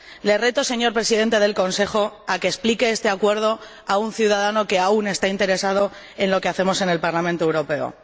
Le reto, señor Presidente del Consejo, a que explique este acuerdo a un ciudadano que aún está interesado en lo que hacemos en el Parlamento Europeo.